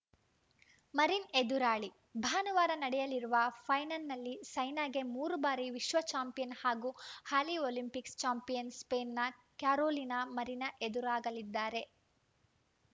marine ಎದುರಾಳಿ ಭಾನುವಾರ ನಡೆಯಲಿರುವ ಫೈನಲ್‌ನಲ್ಲಿ ಸೈನಾಗೆ ಮೂರು ಬಾರಿ ವಿಶ್ವ ಚಾಂಪಿಯನ್‌ ಹಾಗೂ ಹಾಲಿ ಒಲಿಂಪಿಕ್ಸ್‌ ಚಾಂಪಿಯನ್‌ ಸ್ಪೇನ್‌ನ ಕ್ಯಾರೋಲಿನಾ ಮರಿನ್‌ ಎದುರಾಗಲಿದ್ದಾರೆ